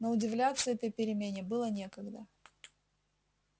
но удивляться этой перемене было некогда